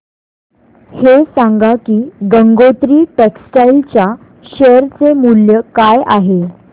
हे सांगा की गंगोत्री टेक्स्टाइल च्या शेअर चे मूल्य काय आहे